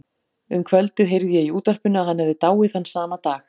Um kvöldið heyrði ég í útvarpinu að hann hefði dáið þann sama dag.